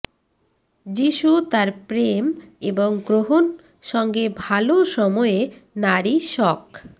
যীশু তার প্রেম এবং গ্রহণ সঙ্গে ভাল সময়ে নারী শক